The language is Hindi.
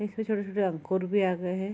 इसपे छोटे-छोटे अंकुर भी आ गए है।